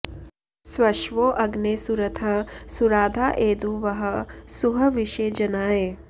स्वश्वो॑ अग्ने सु॒रथः॑ सु॒राधा॒ एदु॑ वह सुह॒विषे॒ जना॑य